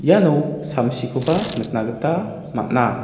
iano samsikoba nikna gita man·a.